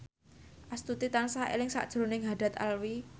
Astuti tansah eling sakjroning Haddad Alwi